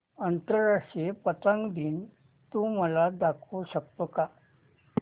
आंतरराष्ट्रीय पतंग दिन तू मला दाखवू शकतो का